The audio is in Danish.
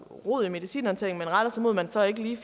rod i medicinhåndteringen men retter sig mod at man så ikke lige